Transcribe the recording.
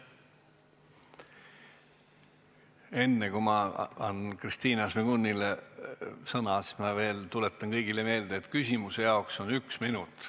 Enne kui ma annan Kristina Šmigunile sõna, tuletan kõigile meelde, et küsimuse jaoks on üks minut.